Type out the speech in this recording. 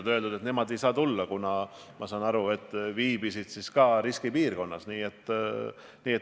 Nad on öelnud, et nemad ei saa kohale tulla, kuna nad viibisid riskipiirkonnas.